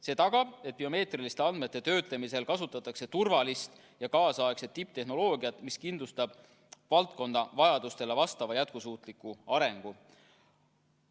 See tagab, et biomeetriliste andmete töötlemisel kasutatakse turvalist ja kaasaegset tipptehnoloogiat, mis kindlustab valdkonna vajadustele vastava jätkusuutliku arengu.